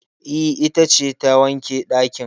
E, ita ce ta wanke ɗakin